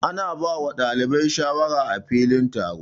Ana ba dalibai shawara á filin taro.